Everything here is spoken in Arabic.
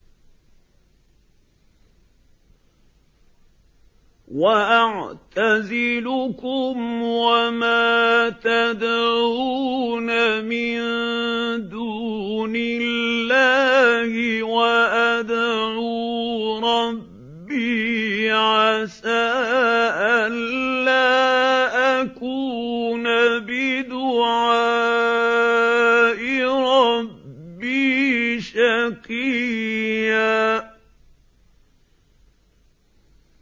وَأَعْتَزِلُكُمْ وَمَا تَدْعُونَ مِن دُونِ اللَّهِ وَأَدْعُو رَبِّي عَسَىٰ أَلَّا أَكُونَ بِدُعَاءِ رَبِّي شَقِيًّا